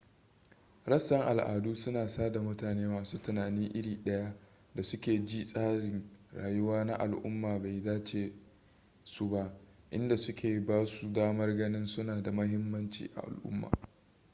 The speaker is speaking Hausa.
rassan al'adu suna sada mutane masu tunani iri daya da suke ji tsarin rayuwa na al'umma bai dace da su ba inda suke ba su damar ganin suna da muhimanci a al'umma